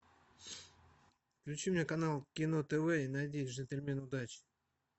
включи мне канал кино тв и найди джентльмены удачи